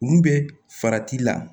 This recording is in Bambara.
Mun bɛ farati la